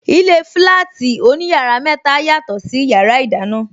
Ilé flati oní yàrá mẹta, yàtò sí yàrá ìdáná.